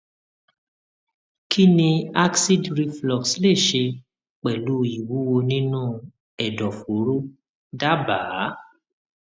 kí ni acid reflux lè ṣe pẹlú ìwúwo nínú ẹdọfóró dábàá